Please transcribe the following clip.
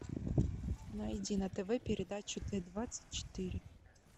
найди на тв передачу т двадцать четыре